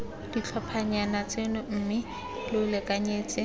ditlhophanyana tseno mme lo lekanyetse